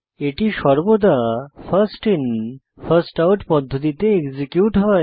এটি সর্বদা first in first out পদ্ধতিতে এক্সিকিউট হয়